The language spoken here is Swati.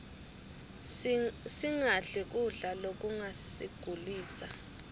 singadli kudla lokungasigulisa